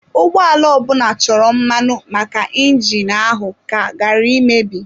Ụgbọala ọbụla chọrọ mmanụ maka injini ahụ ka ghara imebi.